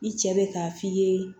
I cɛ bɛ ka f'i ye